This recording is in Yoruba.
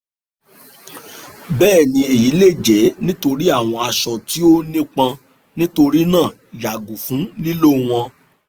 bẹẹni eyi le jẹ nitori awọn aṣọ ti o nipọn nitorinaa yago fun lilo wọn